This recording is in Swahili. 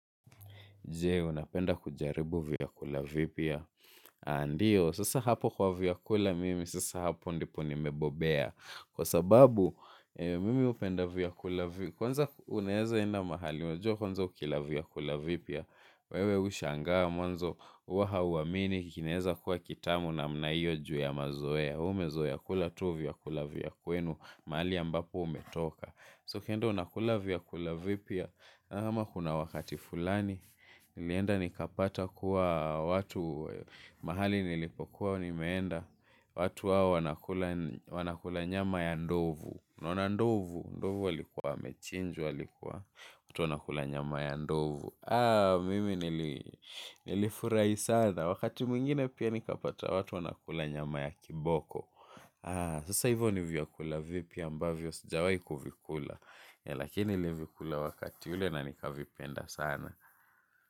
Jee, unapenda kujaribu vyakula vipia. Ndiyo, sasa hapo kwa vyakula mimi, sasa hapo ndipo nimebobea. Kwa sababu, mimi upenda vyakula vipia. Kwanza unaheza enda mahali, unajua kwanza ukila vyakula vipia. Wewe ushanga mwanzo, huwa ha uamini, kikineza kuwa kitamu namnaio juu ya mazoea. Umezoea kula tu vyakula vyakula kwenu, mali ambapo umetoka. Ukienda unakula vyakula vipya kama kuna wakati fulani. Nilienda nikapata kuwa watu mahali nilipokuwa nimeenda. Watu hao wanakula nyama ya ndovu. Ndovu alikuwa amechinjwa alikuwa watu wanakula nyama ya ndovu. Mimi nilifurahi sana. Wakati mwingine pia nikapata watu wanakula nyama ya kiboko. Sasa hivyo nivyakula vipi ambavyo sijawai kuvikula. Lakini nilivikula wakati ule na nikavipenda sana.